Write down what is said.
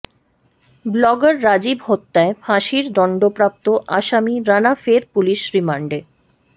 blogger Rajib হত্যায় ফাঁসির দণ্ডপ্রাপ্ত আসামি রানা ফের পুলিশ রিমান্ডে